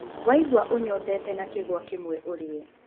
Waigwa ũnyotete una kĩgwa kĩmwe ũrĩe.